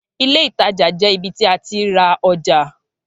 Ilé ìtajà jẹ ibi ti a ti ra ọja